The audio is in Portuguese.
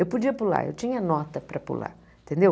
Eu podia pular, eu tinha nota para pular, entendeu?